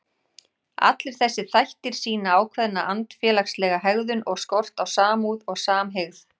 Allir þessir þættir sýna ákveðna andfélagslega hegðun og skort á samúð og samhygð.